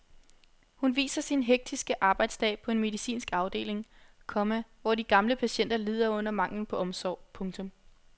Hun viser sin hektiske arbejdsdag på en medicinsk afdeling, komma hvor de gamle patienter lider under manglen på omsorg. punktum